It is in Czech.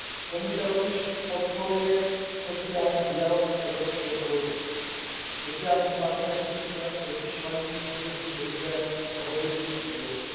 Komise rovněž podporuje sociální dialog na evropské úrovni, sociální partneři totiž mají při řízení krize rozhodující úlohu.